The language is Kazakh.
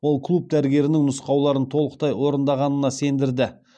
ол клуб дәрігерінің нұсқауларын толықтай орындағанына сендірді